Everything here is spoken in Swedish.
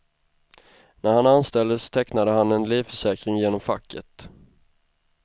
När han anställdes tecknade han en livförsäkring genom facket.